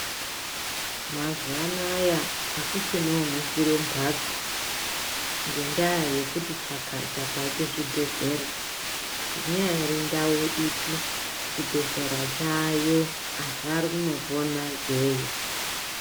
Mazuwa anaya akuchina unofire mumhatso ngendaa yekuti chakata kwaite zvibhehlera. inyari ndau ipi chibhedhlera chaayo antu ari kunopona ikweyo.